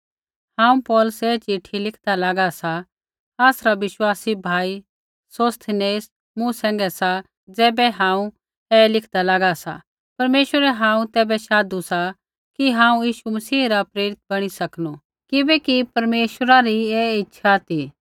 हांऊँ पौलुस ऐ चिट्ठी लिखदा लागा सा आसरा विश्वासी भाई सोस्थिनेस मूँ सैंघै सा ज़ैबै हांऊँ ऐ लिखदा लागा सा परमेश्वरै हांऊँ तैबै शाधु कि हांऊँ यीशु मसीह रा प्रेरित बणी सकनू किबैकि परमेश्वरा री ऐ इच्छा ती